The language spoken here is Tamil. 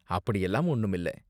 அப்படியெல்லாம் ஒன்னும் இல்ல.